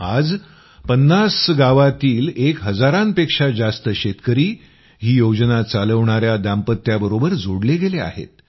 आज 50 गावातील एक हजारांपेक्षा जास्त शेतकरी ही योजना चालवणाया दांपत्याबरोबर जोडले गेले आहेत